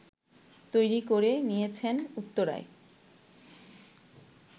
তৈরি করে নিয়েছেন উত্তরায়